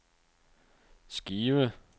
skive